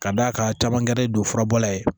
Ka d'a kan caman gɛrɛ don furabɔla ye